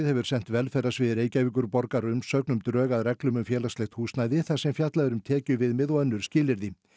hefur sent velferðarsviði Reykjavíkurborgar umsögn um drög að reglum um félagslegt húsnæði þar sem fjallað er um tekjuviðmið og önnur skilyrði